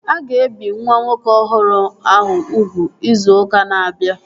A ga-ebi nwa nwoke ọhụrụ ahụ ugwu izu ụka na-abịa